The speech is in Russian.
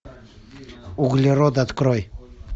углерод открой